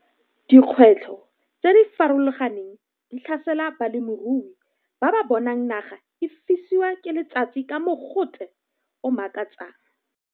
Dikgwetlho tse di farologaneng di tlhasela balemirui ba ba bonang naga e fiswa ke letsatsi ka mogote o o makatsang.